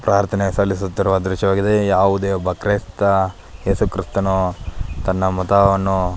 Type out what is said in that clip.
ಪ್ರಾಥನೆ ಸಲಿಸುತ್ತಿರುವ ದ್ರಶ್ಯ ವಾಗಿದೆ ಯಾವುದೇ ಒಬ್ಬ ಕ್ರಿಸ್ತ ಏಸು ಕ್ರಿಸ್ತನು ತನ್ನ ಮತವನ್ನು --